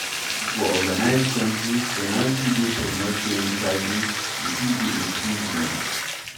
For organised countries, penalty dey for not paying taxes e fit be imprisonment